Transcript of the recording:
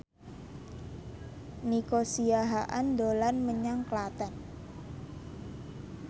Nico Siahaan dolan menyang Klaten